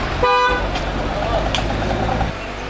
Səndə yoxdur.